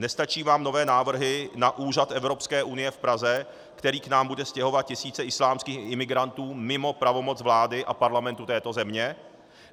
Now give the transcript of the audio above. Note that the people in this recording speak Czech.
Nestačí vám nové návrhy na úřad Evropské unie v Praze, který k nám bude stěhovat tisíce islámských imigrantů mimo pravomoc vlády a Parlamentu této země?